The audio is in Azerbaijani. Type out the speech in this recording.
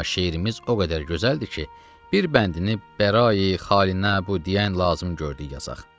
Amma şeirimiz o qədər gözəldir ki, bir bəndini bəra-i xalinə bu deyən lazım gördük yazaq.